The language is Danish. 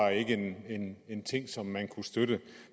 en ting som man kunne støtte